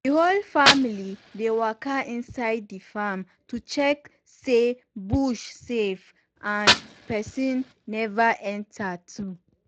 the whole family dey waka inside the farm to check say bush safe and person never enter too.